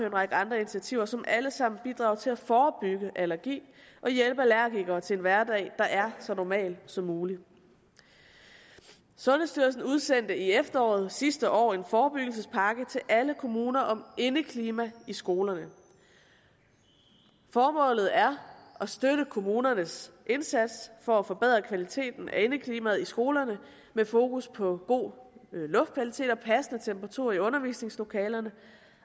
en række andre initiativer som alle sammen bidrager til at forebygge allergi og hjælpe allergikere til en hverdag der er så normal som muligt sundhedsstyrelsen udsendte i efteråret sidste år en forebyggelsespakke til alle kommuner om indeklima i skolerne formålet er at støtte kommunernes indsats for at forbedre kvaliteten af indeklimaet i skolerne med fokus på god luftkvalitet og passende temperaturer i undervisningslokalerne